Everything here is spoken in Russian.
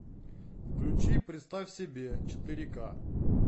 включи представь себе четыре к